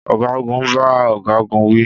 Ọ̀gágun bá ọ̀gágun wí